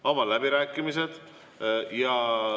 Avan läbirääkimised.